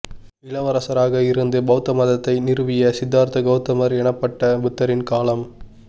இளவரசராக இருந்து பௌத்த மதத்தை நிறுவிய சித்தார்த்த கௌதமர் எனப்பட்ட புத்தரின் காலம்